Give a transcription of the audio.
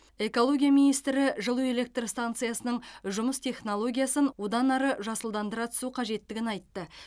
экология министрі жылу электр станциясының жұмыс технологиясын одан жасылдандыра түсу қажеттігін айтты